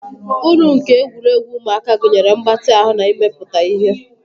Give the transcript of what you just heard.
Uru nke egwuregwu ụmụaka gụnyere mgbatị ahụ na imepụta ihe.